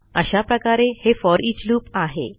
अशा प्रकारे हे फोरिच लूप आहे